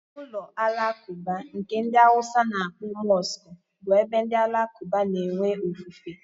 Ụlọ alakuba nke ndi awusa na-akpọ mosque bu ebe ndị alakuba na-enwe ofufe